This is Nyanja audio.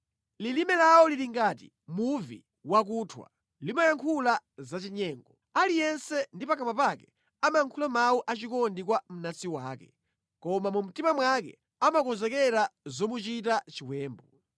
Lilime lawo lili ngati muvi wakuthwa; limayankhula zachinyengo. Aliyense ndi pakamwa pake amayankhula mawu achikondi kwa mnansi wake, koma mu mtima mwake amakonzekera zomuchita chiwembu.